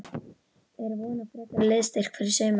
Er von á frekari liðsstyrk fyrir sumarið?